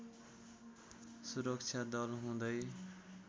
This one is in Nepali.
सुरक्षा दल हुँदै